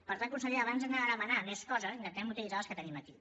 per tant consellera abans d’anar a demanar més coses intentem utilitzar les que tenim aquí